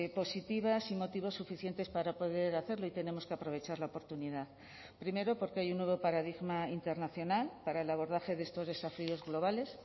positivas y motivos suficientes para poder hacerlo y tenemos que aprovechar la oportunidad primero porque hay un nuevo paradigma internacional para el abordaje de estos desafíos globales